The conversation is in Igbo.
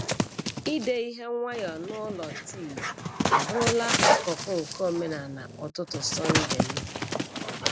Ide ihe nwayọọ n’ụlọ tii abụrụla akụkụ nke omenala ụtụtụ Sọnde m.